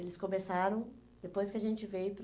Eles começaram, depois que a gente veio para...